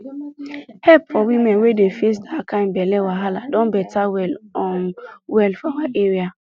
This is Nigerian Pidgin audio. help for women wey dey face that kind belle wahala don better well um well for our area